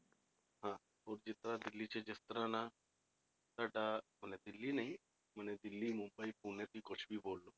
ਹੋਰ ਜਿੱਦਾਂ ਦਿੱਲੀ 'ਚ ਜਿਸ ਤਰ੍ਹਾਂ ਨਾ, ਤੁਹਾਡਾ ਮਨੇ ਦਿੱਲੀ ਨਹੀਂ ਮਨੇ ਦਿੱਲੀ ਮੁੰਬਈ ਪੂਨੇ ਤੁਸੀਂ ਕੁਛ ਵੀ ਬੋਲ ਲਓ।